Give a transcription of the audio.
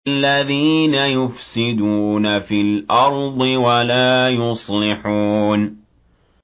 الَّذِينَ يُفْسِدُونَ فِي الْأَرْضِ وَلَا يُصْلِحُونَ